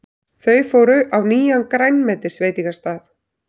Þau fóru á nýjan grænmetisveitingastað.